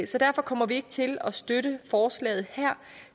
så derfor kommer vi ikke til at støtte forslaget her